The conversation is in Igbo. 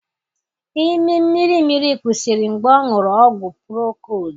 Imi mmirimmiri kwụsịrị mgbe ọṅụru ọgwụ procold